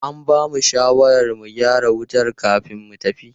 An bamu shawarar mu gyara wutar kamin mu tafi.